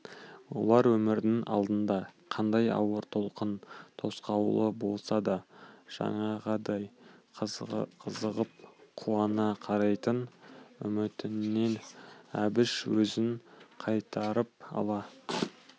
олар өмірінің алдында қандай ауыр толқын тосқауылы болса да жаңағыдай қызығып қуана қарайтын үмітінен әбіш өзін қайтарып ала